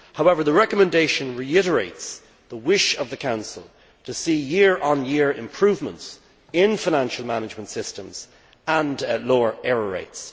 However, the recommendation reiterates the wish of the Council to see year on year improvements in financial management systems and lower error rates.